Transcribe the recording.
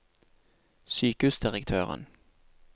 sykehusdirektøren